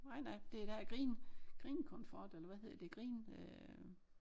Nej nej det der green green comfort eller hvad hedder det green øh